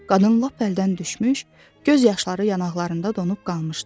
Qadın lap əldən düşmüş, göz yaşları yanaqlarında donub qalmışdı.